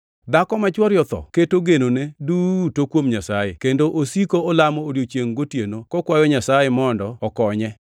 Dhako ma chwore otho keto genone duto kuom Nyasaye, kendo osiko olamo odiechiengʼ gotieno kokwayo Nyasaye mondo okonye.